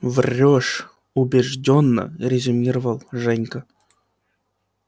врёшь убеждённо резюмировал женька